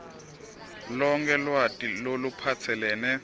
lonkhe lwati loluphatselene